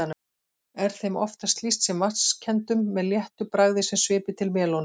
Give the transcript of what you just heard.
Er þeim oftast lýst sem vatnskenndum með léttu bragði sem svipi til melónu.